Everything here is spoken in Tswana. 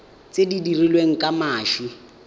tse di dirilweng ka mashi